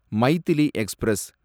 Maithili express